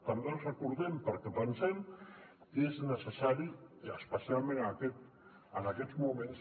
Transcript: també els recordem perquè pensem que és necessari especialment en aquests moments